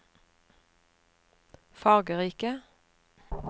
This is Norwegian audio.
fargerike